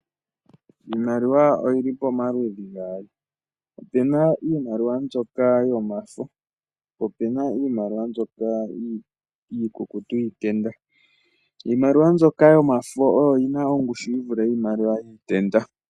Iimaliwa oyili pomaludhi gaali. Opuna iimaliwa mbyoka yomafo po opena iimaliwa mbyoka iikukutu yiitenda. Iimaliwa mbyoka yomafo oyo yina ongushu yi vule yiimaliwa yiitenda.